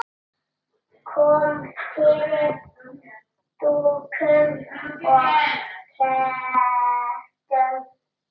Kom fyrir dúkum og kertum.